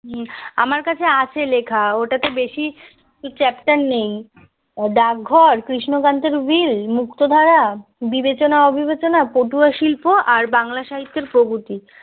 আমার কাছে আছে লেখা ওটাতে দেখি চ্যাপ্টার নেই ডাকঘর কৃষ্ণকান্তের উইল মুক্তধারা বিবেচনা অবিবেচনা পটুয়া শিল্প আর বাংলা সাহিত্যের প্রগতি